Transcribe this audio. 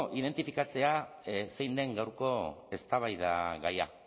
identifikatzea zein den gaurko eztabaidagaia